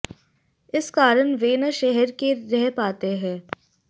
इस कारण वे न शहर के रह पाते हैं